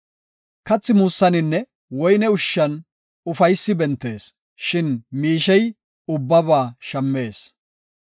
Kathi muussaninne woyne ushshan ufaysi bentees; shin miishey ubbaba shammees.